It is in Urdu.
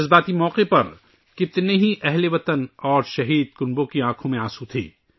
اس جذباتی موقع پر بہت سے اہل وطن اور شہدا کے اہل خانہ کی آنکھوں میں آنسو تھے